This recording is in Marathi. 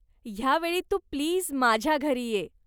ह्या वेळी तू प्लीज माझ्या घरी ये.